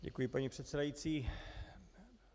Děkuji, paní předsedající.